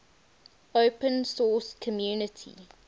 open source community